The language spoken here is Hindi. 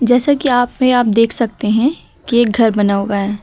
जैसे कि अपने आप देख सकते हैं कि एक घर बना हुआ है।